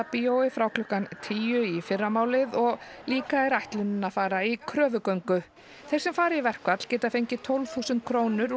bíói frá klukkan tíu í fyrramálið og líka er ætlunin að fara í kröfugöngu þeir sem fara í verkfall geta fengið tólf þúsund krónur